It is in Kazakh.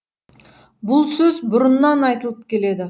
бұл сөз бұрыннан айтылып келеді